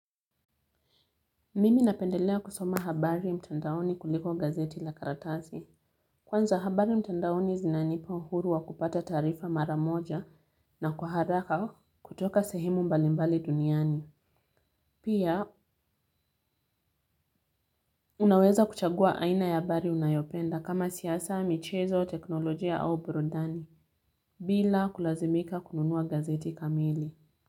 Mimi napendelea kusoma habari mtandaoni kuliko gazeti la karatasi. Kwanza habari mtandaoni zinanipa uhuru wa kupata taarifa mara moja na kwa haraka kutoka sehemu mbalimbali duniani. Pia unaweza kuchagua aina ya habari unayopenda kama siasa, michezo, teknolojia au burudani bila kulazimika kununua gazeti kamili.